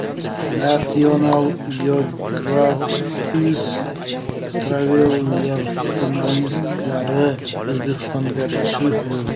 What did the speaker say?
National Geographic Traveler jurnalistlari O‘zbekistonga tashrif buyurdi.